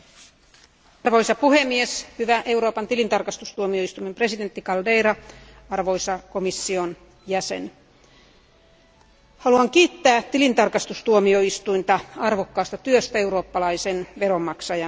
Arvoisa puhemies, hyvä Euroopan tilintarkastustuomioistuimen presidentti Caldeira, arvoisa komission jäsen, haluan kiittää tilintarkastustuomioistuinta arvokkaasta työstä eurooppalaisen veronmaksajan hyväksi.